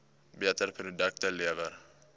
beter produkte lewer